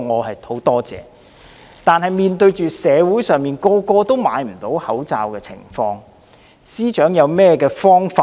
可是，面對社會上人人買不到口罩的情況，司長有何解決方法？